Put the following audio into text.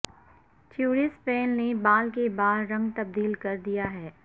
ٹوری Spelling نے بال کا بال رنگ تبدیل کر دیا ہے